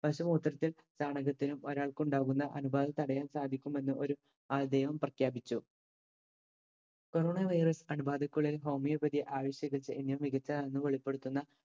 പശു മൂത്രത്തിൽ ചാണകത്തിലും ഒരാൾക്കുണ്ടാകുന്ന അണുബാധ തടയാൻ സാധിക്കുമെന്ന് ഒരു ആൾദൈവം പ്രഖ്യാപിച്ചു corona virus അണുബാധക്കുള്ളിൽ homeopathy ആയുഷ് ചികത്സ എന്നിവ മികച്ചതാണെന്ന് വെളിപ്പെടുത്തുന്ന